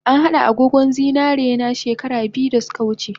An hada agogon zinarena she kara biyu dasuka wuce